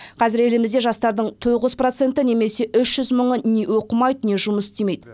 қазір елімізде жастардың тоғыз проценті немесе үш жүз мыңы не оқымайды не жұмыс істемейді